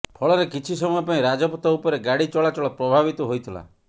ଫଳରେ କିଛି ସମୟ ପାଇଁ ରାଜପଥ ଉପରେ ଗାଡ଼ି ଚଳାଚଳ ପ୍ରଭାବିତ ହୋଇଥିଲା